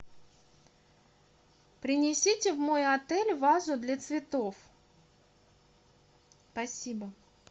принесите в мой отель вазу для цветов спасибо